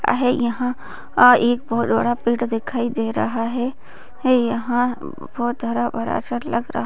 आहे यहाँ एक बहुत बड़ा पेड़ दिखाई दे रहा है यहाँ ब बहुत हरा-भरा सा लग रहा हैँ।